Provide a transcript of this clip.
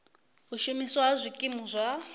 u shumiswa ha zwikimu zwa